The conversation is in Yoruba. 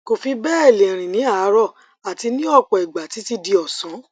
kò fi bẹẹ lè rìn ní àárọ àti ní ọpọ ìgbà títí di ọsán